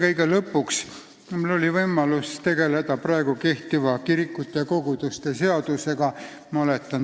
Riigikogu IX koosseisus juhtisin praegu kehtiva kirikute ja koguduste seaduse menetlemist.